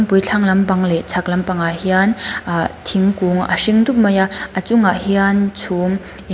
pui thlang lampang leh chhak lampangah hian ahh thingkung a hring dup mai a a chungah hian chhum eng--